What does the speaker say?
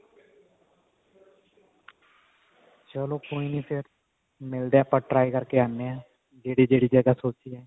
ਚਲੋ ਕੋਈ ਨੀ ਫ਼ੇਰ ਮਿਲਦੇ ਹਾਂ ਆਪਾਂ try ਕਰਕੇ ਆਉੰਦੇ ਹਾਂ ਜਿਹੜੀ ਜਿਹੜੀ ਜਗ੍ਹਾ ਸੋਚੀ ਹੈ